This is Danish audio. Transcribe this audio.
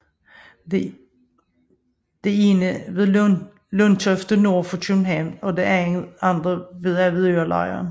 Det ene ved Lundtofte nord for København og det andet ved Avedørelejren